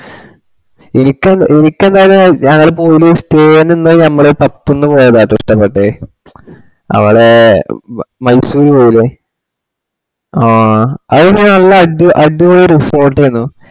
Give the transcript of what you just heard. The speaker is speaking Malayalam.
എനിക്ക് എനിക്കെന്താണ് ഞങ്ങള് പോയി stay നിന്നേ ഞമ്മള്പ ത്തിന്ന് പോയതാട്ടോ ഇഷ്ട്ടപെട്ടെ അവളെ മയ്സൂര് പോയിലെ ആ അവിടെ നല്ല അടിപൊളി resort ഏനു